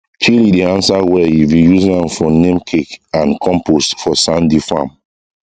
chili dey answer well if you use am for neem cake and compost for sandy farm